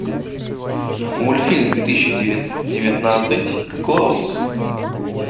мультфильм две тысячи девятнадцать клаус